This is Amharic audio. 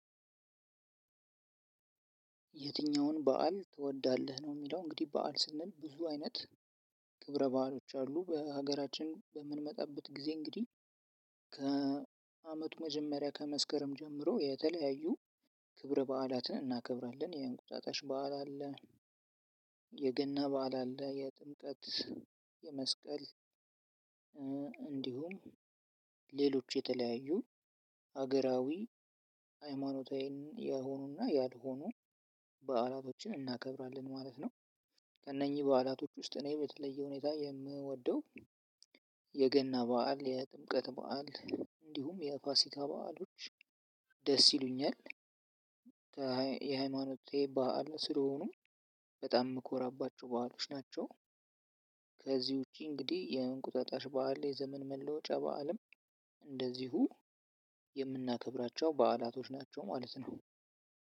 የትኛውን በዓል ትወዳለህ ነው የሚለው? እንግዲህ በዓል ስንል ብዙ አይነት ክብረ ባዕሎች አሉ በሀገራችን በምንመጣበት ጊዜ እንግዲህ ከአመቱ መጀመሪያ ከመስከረም ጀምሮ የተለያዩ ክብረ በዓላትን እናከብራለን። የእንቁጣጣሽ በዓል አለ። የገና በዓል አለ የጥምቀት የመስቀል እንዲሁም ሌሎች የተለያዩ ሀገራዊ ሃይማኖታዊ የሆኑና ያልሆኑ በዓላቶችን እናከብራለን። ማለት ነው። ከእነኚ ባዕላቶች ውስጥ እኔ በተለየ ሁኔታ የምወደው የገና በዓል የጥምቀት በዓል እንዲሁም የፋሲካ በዓሎች ደስ ይሉኛል። የሃይማኖቴ በዓል ስለሆኑ በጣም የምኮራባቸው በዓሎች ናቸው። ከዚህ ውጪ እንግዲህ የእንቁጣጣሽ በዓል የዘመን መለወጫ በዓልም እንደዚሁ የምናከብራቸው በዓላቶች ናቸው ማለት ነው።